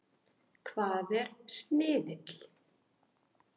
Hvað er sniðill?